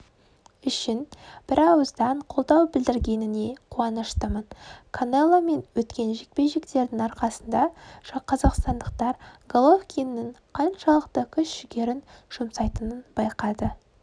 үшін бірауыздан қолдау білдіргеніне қуаныштымын канеломен өткен жекпе-жектердің арқасында қазақстандықтар головкиннің қаншалықты күш-жігерін жұмсайтынын байқады